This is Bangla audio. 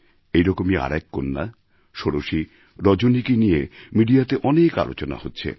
এই রকমই আরেক কন্যা ষোড়শী রজনীকে নিয়ে মিডিয়াতে অনেক আলোচনা হচ্ছে